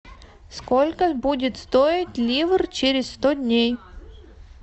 сколько будет стоить ливр через сто дней